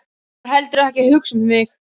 Ég var heldur ekki að hugsa um mig.